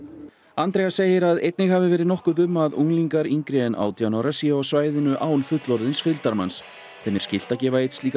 Andrea segir að einnig hafi verið nokkuð um að unglingar yngri en átján ára séu á svæðinu án fullorðins fylgdarmanns þeim er skylt að gefa einn slíkan